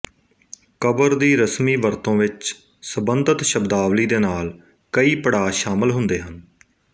ਕਬਰ ਦੀ ਰਸਮੀ ਵਰਤੋਂ ਵਿੱਚ ਸੰਬੰਧਿਤ ਸ਼ਬਦਾਵਲੀ ਦੇ ਨਾਲ ਕਈਂ ਪੜਾਅ ਸ਼ਾਮਲ ਹੁੰਦੇ ਹਨ